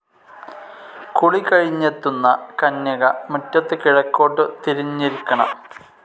കുളി കഴിഞ്ഞെത്തുന്ന കന്യക മുറ്റത്ത് കിഴക്കോട്ടു തിരിഞ്ഞിരിക്കണം.